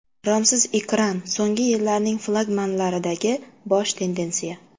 Romsiz ekran so‘nggi yillarning flagmanlaridagi bosh tendensiya.